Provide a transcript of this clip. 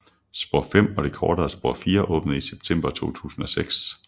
Spor 5 og det kortere spor 4 åbnede i september 2006